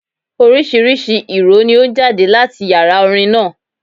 Oríṣiríṣi ìró ni ó ń jáde láti Yàrá orin náà.